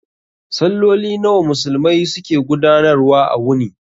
Salloli nawa Musulmai su ke gudanar wa a wuni?